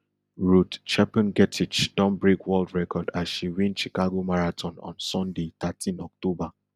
ruth chepngetich don break world record as she win chicago marathon on sunday thirteen october